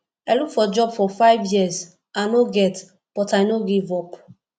i look for job for five years i no get but i no give up